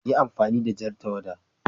Yi amfani da jan tawada!